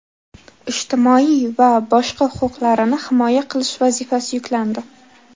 ijtimoiy va boshqa huquqlarini himoya qilish vazifasi yuklandi.